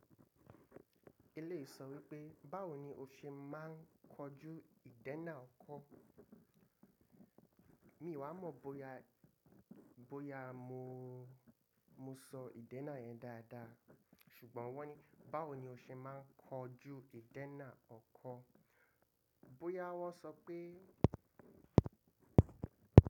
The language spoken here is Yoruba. Eléyìí sọ̀ wípé: Báwo ni o ṣe máà ń kojú ìdénà ọkọ́? Mí ìwà mọ̀ bóyá, bóyá mo, mo sọ ìdénà yẹn dáadáa ṣùgbọ́n wọ́n ní báwo ni o ṣe máa ń kojú ìdénà ọkọ́? Bóyá wọ́n sọ pé.